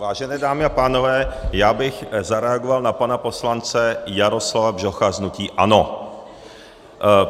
Vážené dámy a pánové, já bych zareagoval na pana poslance Jaroslava Bžocha z hnutí ANO.